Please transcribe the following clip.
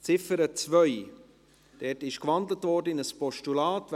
Die Ziffer 2 wurde in ein Postulat gewandelt.